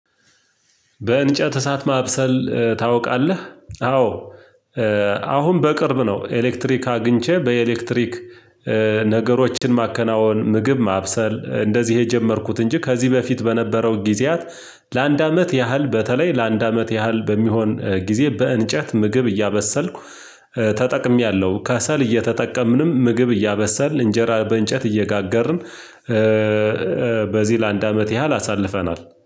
በእንጨት እሳት ማብሰል ታውቃለህ? አዎ አሁን በቅርብ ነው ኤሌክትሪክ አግኝቼ በኤሌክትሪክ ነገሮችን ማከናወን ምግብ ማብሰል እንደዚህ የጀመርኩት እንጂ ከዚህ በፊት በነበረው ጊዜያት ለአንድ አመት ያህል በተለይ ለአንድ አመት ያህል በሚሆን ጊዜ በእንጨት ምግብ እያበሰልኩ ተጠቅሜያለሁ። ከሰል እየተጠቀምንም ምግብ እያበሰልን እንጀራ በእንጨት እየጋገርን በዚህ ለአንድ አመት ያህል አሳልፈናል።